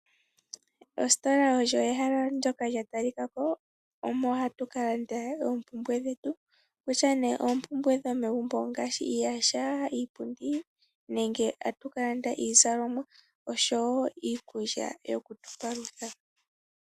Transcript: Ositola oyo ehala ndyoka lya talika ko omo hatu kalanda oompumbwe dhetu kutya nee ompumbwe dhomegumbo ngaashi iiyaha, iipundi nenge tatu kalanda iizalomwa oshowo iikulya yoku tupalutha.